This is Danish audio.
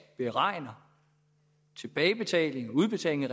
beregner tilbagebetaling udbetaling af